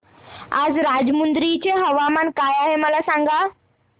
आज राजमुंद्री चे तापमान काय आहे मला सांगा